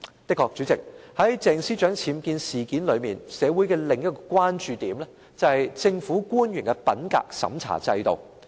的確，主席，在鄭司長僭建事件裏，社會的另一個關注點是政府官員的品格審查制度。